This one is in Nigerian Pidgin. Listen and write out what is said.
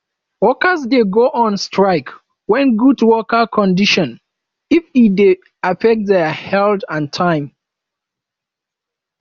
workers de go on strike when good working conditrion if e de affect their health and time